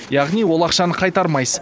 яғни ол ақшаны қайтармайсыз